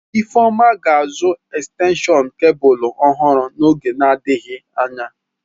Ifeoma ga-azụ ekstenshọn kebụlụ ọhụrụ n'oge adịghị anya.